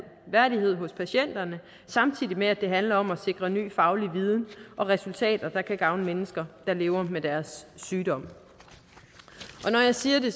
værdighed hos patienterne samtidig med at det handler om at sikre ny faglig viden og resultater der kan gavne mennesker der lever med deres sygdom når jeg siger det